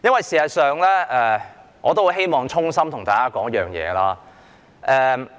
事實上，我希望衷心對大家說一件事。